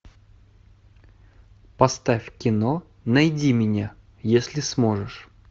поставь кино найди меня если сможешь